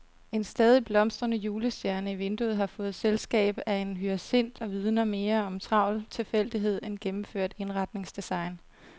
En stadig blomstrende julestjerne i vinduet har fået selskab af en hyacint og vidner mere om travl tilfældighed end gennemført indretningsdesign.